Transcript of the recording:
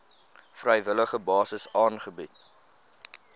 vrywillige basis aangebied